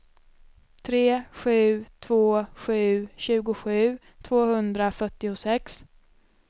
tre sju två sju tjugosju tvåhundrafyrtiosex